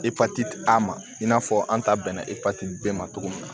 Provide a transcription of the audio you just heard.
Epatiti ta ma i n'a fɔ an ta bɛnna epatiti bɛɛ ma cogo min na